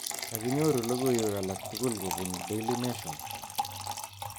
Kakinyoru logoiwek alaktukul kobun Daily Nation